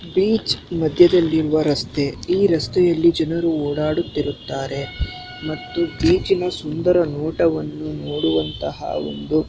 beach ಮದ್ಯದಲ್ಲಿರುವ ರಸ್ತೆ ಈ ರಸ್ತೆಯಲ್ಲಿ ಜನರು ಓಡಾಡುತ್ತಿರುತ್ತಾರೆ ಮತ್ತು ಬೀಚಿನ ಸುಂದರ ನೋಟವನ್ನು ನೋಡುವಂತಹ ಒಂದು_